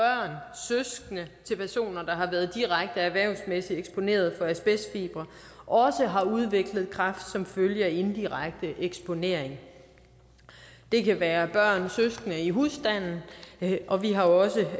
søskende til personer der har været direkte erhvervsmæssig eksponeret for asbestfibre også har udviklet kræft som følge af indirekte eksponering det kan være børn og søskende i husstanden og vi har også